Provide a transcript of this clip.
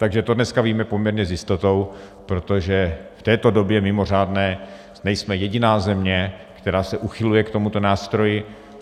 Takže to dneska víme poměrně s jistotou, protože v této době mimořádné nejsme jediná země, která se uchyluje k tomuto nástroji.